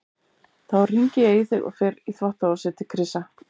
Þá hringi ég í þig og fer í þvottahúsið til Krissa.